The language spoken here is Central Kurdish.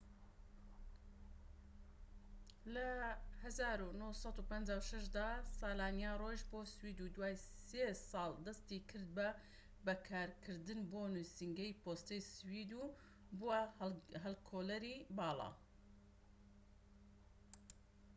لە ١٩٥٦ دا سلانیا ڕۆیشت بۆ سوید و دوای سێ ساڵ دەستی کرد بە کارکردن بۆ نوسینگەی پۆستەی سوید و بووە هەڵکۆڵەری باڵا